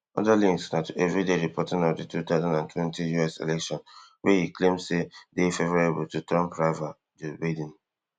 oda links na to everyday reporting of di two thousand and twenty US election wey e claim say dey favourable to trump rival joe biden